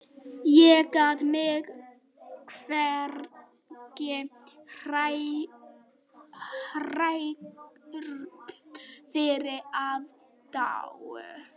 Ég gat mig hvergi hrært fyrir aðdáun